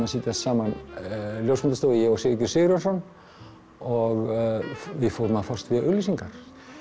að setja saman ljósmyndastofu ég og Sigurgeir Sigurjónsson og við fórum að fást við auglýsingar